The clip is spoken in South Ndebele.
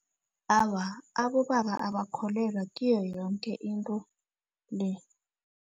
Awa, abobaba abakholelwa kiyo yoke into le.